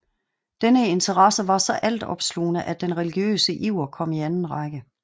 Denne interesse var så altopslugende at den religiøse iver kom i anden række